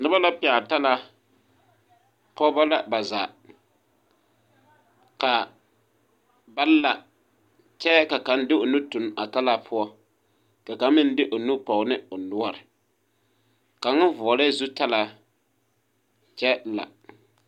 Noba la pɛgle talaa pogeba la ba zaa ka ba la kyɛ ka kaŋ de o nu tuŋ talaa poɔ ka kaŋ meŋ de o nu pɔge ne o noɔre kaŋ vɔglɛɛ zutalaa kyɛ la.